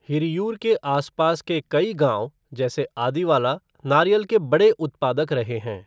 हिरियूर के आसपास के कई गांव जैसे आदिवाला, नारियल के बड़े उत्पादक रहे हैं।